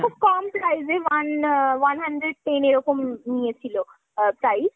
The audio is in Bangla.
খুব কম price এ one আ one hundred ten এরকম নিয়েছিল আ price